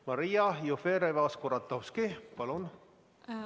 Maria Jufereva-Skuratovski, palun!